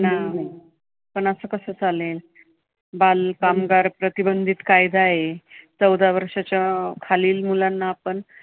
नाही ना. पण असं कसं चालेल? बालकामगार प्रतिबंधित कायदा आहे. चौदा वर्षाच्या खालील मुलांना आपण